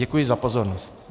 Děkuji za pozornost.